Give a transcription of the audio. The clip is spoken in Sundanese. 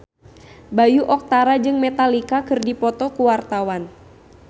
Bayu Octara jeung Metallica keur dipoto ku wartawan